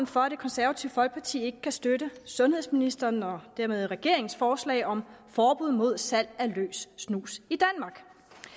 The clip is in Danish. for at det konservative folkeparti ikke kan støtte sundhedsministerens og dermed regeringens forslag om forbud mod salg af løs snus i danmark det